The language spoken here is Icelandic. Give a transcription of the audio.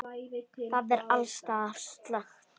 Það er alls staðar slökkt.